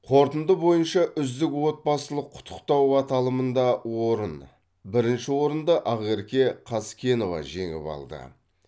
қорытынды бойынша үздік отбасылық құттықтау аталымында орын бірінші орынды ақерке қазкенова жеңіп алды